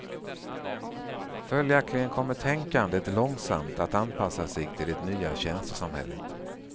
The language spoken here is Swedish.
Följaktligen kommer tänkandet långsamt att anpassa sig till det nya tjänstesamhället.